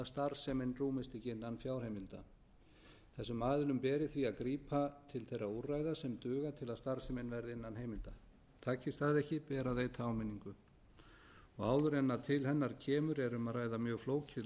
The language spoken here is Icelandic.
starfsemin rúmist ekki innan fjárheimilda þessum aðilum beri því að grípa til þeirra úrræða sem duga til að starfsemin verði innan heimilda takist það ekki ber að veita áminningu áður en til hennar kemur er um að ræða mjög flókið langt ferli